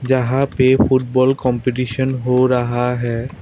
जहां पे football competition हो रहा है।